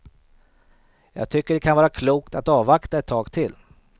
Jag tycker det kan vara klokt att avvakta ett tag till.